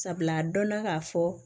Sabula a dɔnna k'a fɔ